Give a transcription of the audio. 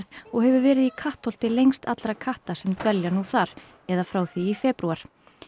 og hefur verið í Kattholti lengst allra katta sem dvelja nú þar eða frá því í febrúar